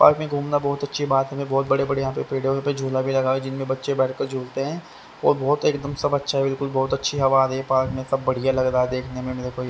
Park में घूमना बहुत अच्छी बात है। मैं बहुत बड़े बड़े यहां पेडे है यहां पे झूला भी लगा हुआ है जिनमें बच्चे बैठ के झूलते हैं और बहोत एकदम सा अच्छा बिल्कुल बहोत अच्छी हवा आ रही है। पार्क में अब अच्छा लग रहा है देखने में मेरे को ये।